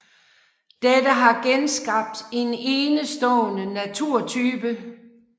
Dette har genskabt en enestående naturtype